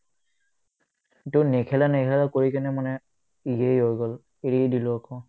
কিন্তু নেখেলা নেখেলা কৰি কিনে মানে ইয়ে হৈ গ'ল এৰিয়ে দিলো আকৌ